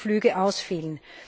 200 Flüge ausfielen.